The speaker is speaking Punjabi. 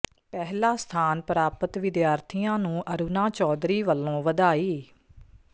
ਪਹਿਲਾ ਸਥਾਨ ਪ੍ਰਾਪਤ ਵਿਦਿਆਰਥੀਆਂ ਨੂੰ ਅਰੁਣਾ ਚੌਧਰੀ ਵੱਲੋਂ ਵਧਾਈ